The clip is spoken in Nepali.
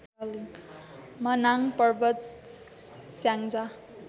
मनाङ पर्वत स्याङ्जा